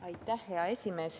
Aitäh, hea esimees!